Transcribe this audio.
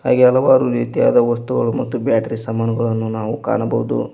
ಹಾಗೆ ಹಲವಾರು ರೀತಿಯಾದ ವಸ್ತುಗಳು ಮತ್ತು ಬ್ಯಾಟರಿ ಸಮಾನ್ಗಳನ್ನು ನಾವು ಕಾಣಬೋದು.